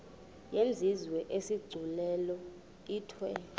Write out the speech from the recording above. yenziwe isigculelo ithiwe